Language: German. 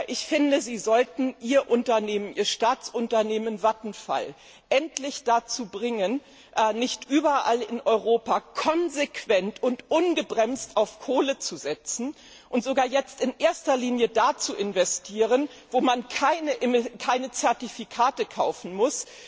Ich finde, Sie sollten Ihr Staatsunternehmen Vattenfall endlich dazu bringen, nicht überall in Europa konsequent und ungebremst auf Kohle zu setzen und sogar jetzt in erster Linie da zu investieren, wo man keine Zertifikate kaufen muss.